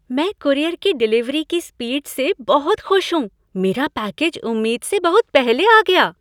मैं कूरियर की डिलीवरी की स्पीड से बहुत खुश हूँ। मेरा पैकेज उम्मीद से बहुत पहले आ गया!